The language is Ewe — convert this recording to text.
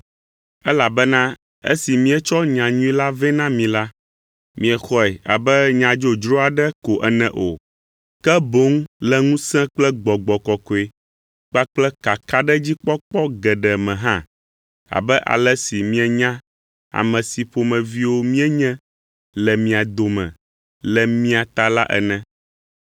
elabena esi míetsɔ nyanyui la vɛ na mi la, miexɔe abe nya dzodzro aɖe ko ene o; ke boŋ le ŋusẽ kple Gbɔgbɔ Kɔkɔe kpakple kakaɖedzikpɔkpɔ geɖe me hã abe ale si mienya ame si ƒomeviwo míenye le mia dome le mia ta la ene.